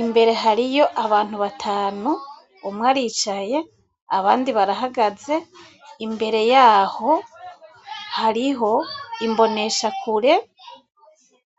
imbere hariyo abantu batanu, umwe aricaye, abandi barahagaze, imbere y'aho hariho imbonesha kure,